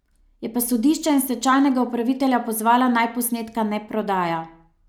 Je pa sodišče in stečajnega upravitelja pozvala, naj posnetka ne prodaja.